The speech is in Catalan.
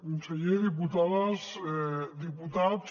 conseller diputades diputats